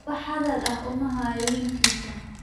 Wax hadal ah uma hayo wiilkiisa